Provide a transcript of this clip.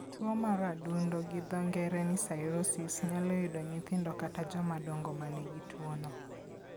Tuwo mar adundo (cirrhosis) nyalo yudo nyithindo kata joma dongo ma nigi tuwono.